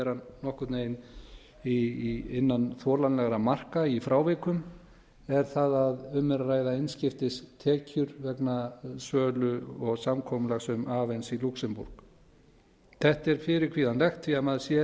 að vera nokkurn veginn innan þolanlegra marka í frávikum er það að um er að ræða einskiptis tekjur vegna sölu og samkomulags um avens í lúxemborg þetta er fyrirkvíðanlegt því maður sér